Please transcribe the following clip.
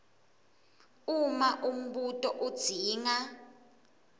uma umbuto udzinga